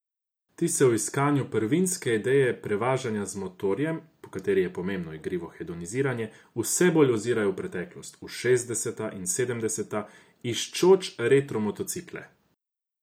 Ti se v iskanju prvinske ideje prevažanja z motorjem, po kateri je pomembno igrivo hedoniziranje, vse bolj ozirajo v preteklost, v šestdeseta in sedemdeseta, iščoč retro motocikle.